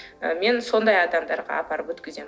ы мен сондай адамдарға апарып өткіземін